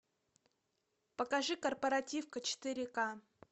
покажи корпоративка четыре к